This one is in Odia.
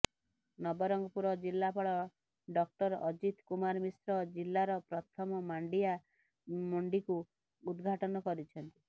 ନବରଙ୍ଗପୁର ଜିଲ୍ଲାପାଳ ଡକ୍ଟର ଅଜିତ କୁମାର ମିଶ୍ର ଜିଲ୍ଲାର ପ୍ରଥମ ମାଣ୍ଡିଆ ମଣ୍ଡିକୁ ଉଦଘାଟନ କରିଛନ୍ତି